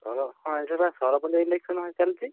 ହଁ ଏବେବା ସରପଞ୍ଚ election ଭାଇ ଚାଲଛି।